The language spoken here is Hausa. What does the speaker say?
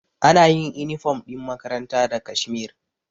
Anayin inifom ɗin makaranta da kashmir